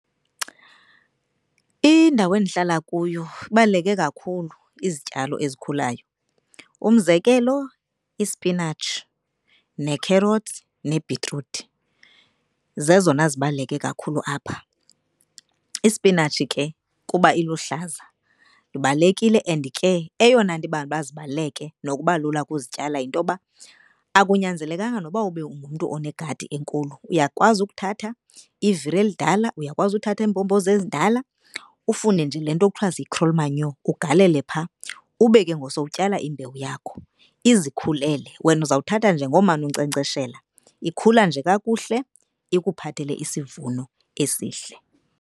Indawo endihlala kuyo ibaluleke kakhulu izityalo ezikhulayo. Umzekelo, ispinatshi, nekherothi nebhitruthi zezona zibaluleke kakhulu apha. Isipinatshi ke kuba iluhlaza ibalulekile and ke eyona nto ibanga uba zibaluleke nokuba lula ukuzityala yintoba akunyanzelekanga noba ube ungumntu onegadi enkulu. Uyakwazi ukuthatha iviri elidala, uyakwazi uthatha iimbhombozi ezindala ufune nje le nto kuthiwa yi-crawl manure ugalele pha, ube ke ngoku sowutyala imbewu yakho izikhulele. Wena uzawuthatha nje ngomane unkcenkceshela ikhula nje kakuhle ikuphathele isivuno esihle.